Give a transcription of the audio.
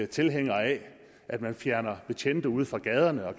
tilhængere af at man fjerner betjente ude fra gaderne og